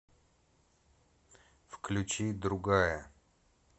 включи другая